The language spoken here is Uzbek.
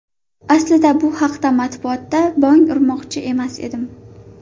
Aslida bu haqida matbuotda bong urmoqchi emas edim.